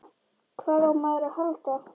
Hvað á maður að halda?